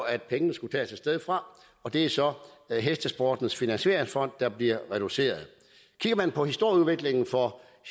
at pengene skulle tages et sted fra og det er så hestesportens finansieringsfond der bliver reduceret kigger man på historieudviklingen for